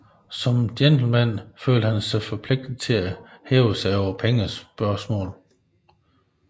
Som gentleman følte han sig forpligtet til at hæve sig over pengespørgsmål